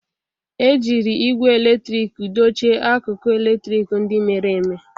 Ejiri igwe eletrik dochie akụkụ eletrik ndị mere eme.